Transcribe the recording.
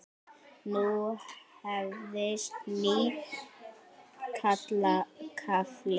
Nú hefst nýr kafli.